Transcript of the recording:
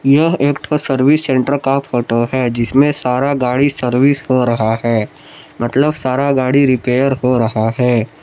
यह एक ठो सर्विस सेंटर का फोटो है जिसमें सारा गाड़ी सर्विस हो रहा है। मतलब सारा गाड़ी रिपेयर हो रहा है।